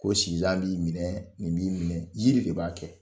Ko sinzan b'i minɛ, nin b'i minɛ, yiri de b'a kɛ.